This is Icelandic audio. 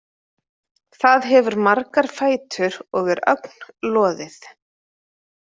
Það hefur margar fætur og er ögn loðið.